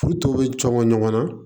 K'u to bɛ cɔngɔ ɲɔgɔn na